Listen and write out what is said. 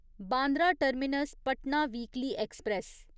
Bandra terminus Patna weekly express